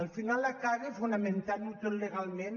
al final acaba fonamentant·ho tot legalment